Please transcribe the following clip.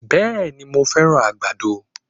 Bẹ̀ẹ̀ni, mo fẹ́ràn àgbàdo.